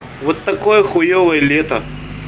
вот такое хуёвое лето